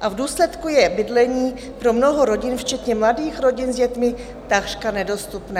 a v důsledku je bydlení pro mnoho rodin, včetně mladých rodin s dětmi, takřka nedostupné.